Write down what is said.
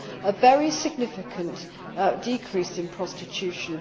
half a very significant decrease in prostitution.